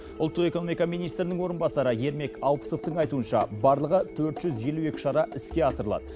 ұлттық экономика министрінің орынбасары ермек алпысовтың айтуынша барлығы төрт жүз елу екі шара іске асырылады